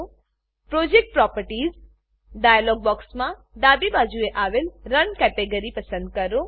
project properties project properties dialog બોક્સમાં ડાબી બાજુ આવેલ રન રન કેટેગરી પસંદ કરો